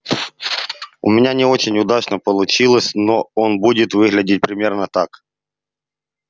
у меня не очень удачно получилось но он будет выглядеть примерно так